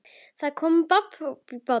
Það kom babb bátinn.